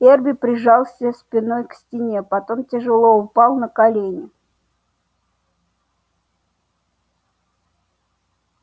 эрби прижался спиной к стене потом тяжело упал на колени